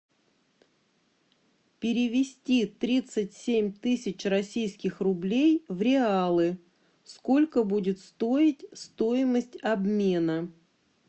перевести тридцать семь тысяч российских рублей в реалы сколько будет стоить стоимость обмена